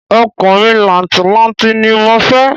Ọkùnrin làǹtì-lanti ni mo fẹ́